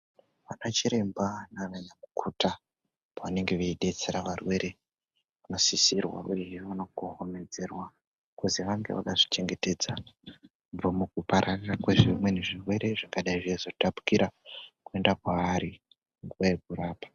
Anachiremba naananyamukuta pavanenge veidetsera varwere, vanosisirwa uyehe vanokohomedzerwa kuzi vange vakazvichengetedza kubva mukupararira kwezvimweni zvirwere, zvingadai zveizotapukira kuenda kwavari nguwa yekurapa.